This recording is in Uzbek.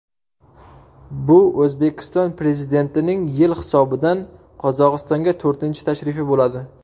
Bu O‘zbekiston Prezidentining yil hisobidan Qozog‘istonga to‘rtinchi tashrifi bo‘ladi.